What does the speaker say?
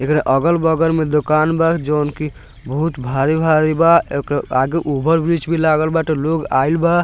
एकर अगल-बगल में दुकान बा जोवन की बहुत भारी-भारी बा एकरा आगे ओवर ब्रिज भी लागल बाटे लोग आईल बा।